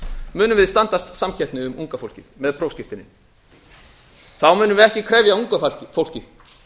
munum við standast samkeppni um unga fólkið með prófskírteinin þá munum við ekki krefja unga fólkið